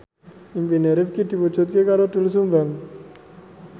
impine Rifqi diwujudke karo Doel Sumbang